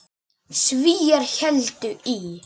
Svíar héldu í